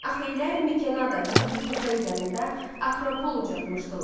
Axeylər Mikenada hündür təpə üzərində Akropol ucatmışdılar.